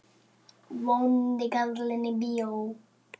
Vondi karlinn í bíó?